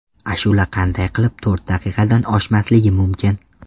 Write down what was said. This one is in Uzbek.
Ashula qanday qilib to‘rt daqiqadan oshmasligi mumkin.